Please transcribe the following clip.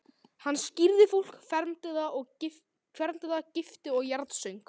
Hann skírði fólk, fermdi það, gifti og jarðsöng.